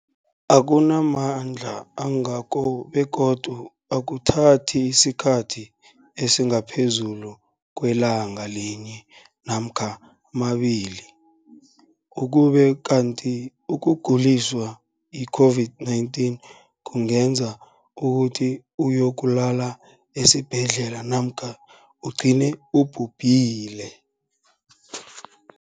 akuna mandla angako begodu akuthathi isikhathi esingaphezulu kwelanga linye namkha mabili, ukube kanti ukuguliswa yi-COVID-19 kungenza ukuthi uyokulala esibhedlela namkha ugcine ubhubhile.